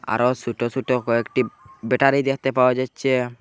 বিআরো সোট সোট ব্যেটারি দেখতে পাওয়া যাচ্ছে।